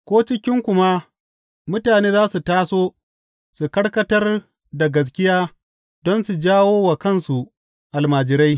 Ko cikinku ma mutane za su taso su karkatar da gaskiya don su jawo wa kansu almajirai.